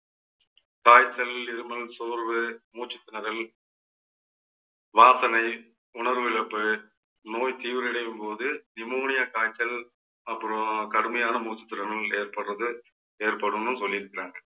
காய்ச்சல், இருமல், சோர்வு, மூச்சுத்திணறல், வாசனை, உணர்விழப்பு, நோய் தீவிரமடையும் போது, நிமோனியா காய்ச்சல், அப்புறம், கடுமையான மூச்சுத்திணறல் ஏற்படுறது ஏற்படும்னு சொல்லியிருக்கிறாங்க